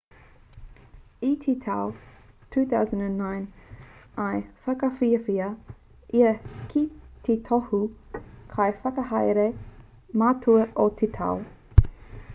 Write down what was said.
i te tau 2009 i whakawhiwhia ia ki te tohu kaiwhakahaere matua o te tau